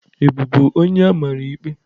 Ị bụbu onye amamikpe?